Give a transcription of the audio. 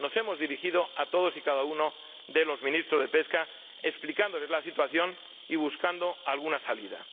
Nos hemos dirigido a todos y cada uno de los ministros de Pesca explicándoles la situación y buscando alguna salida.